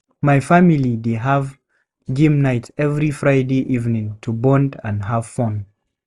My family dey have game night every Friday evening to bond and have fun.